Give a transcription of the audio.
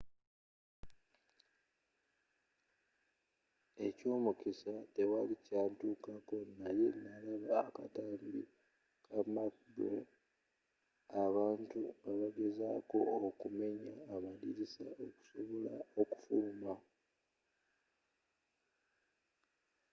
ekyomukisa tewali kyantukako naye nalaba akatambi ka macabre abantu nga bagezaako okumenya amadirisa okusobola okufuluma.